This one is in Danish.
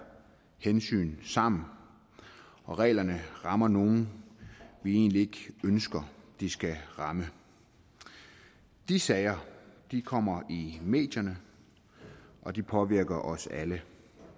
hensyn sammen og reglerne rammer nogle vi egentlig ikke ønsker de skal ramme de sager kommer i medierne og de påvirker os alle